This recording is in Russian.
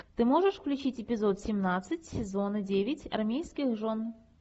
ты можешь включить эпизод семнадцать сезона девять армейских жен